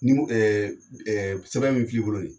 Ni ko sɛbɛn min filɛ i bolo nin